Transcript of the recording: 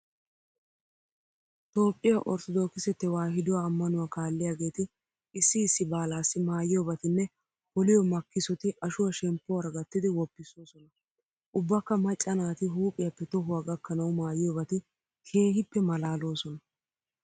Toophphiya orttodookise tewaahiduwa ammanuwa kaalliyageeti issi issi baalaassi maayiyobatinne poliyo makkisoti ashuwa shemppuwara gattidi woppissoosona. Ubbakka macca naati huuphiyappe tohuwa gakkanawu maayiyobati keehippe maalaaloosona.